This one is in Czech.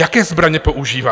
Jaké zbraně používá?